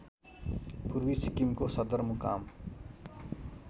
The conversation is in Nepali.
पूर्वी सिक्किमको सदरमुकाम